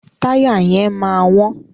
Táyà yẹn máa wọ́n.